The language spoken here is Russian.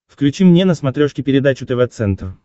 включи мне на смотрешке передачу тв центр